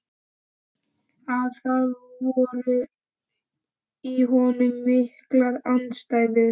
Að það voru í honum miklar andstæður.